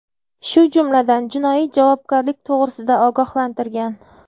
shu jumladan jinoiy javobgarlik to‘g‘risida ogohlantirgan.